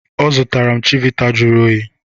Ọ zụtara m chivita jụrụ oyi